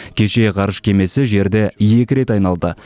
кеше ғарыш кемесі жерді екі рет айналды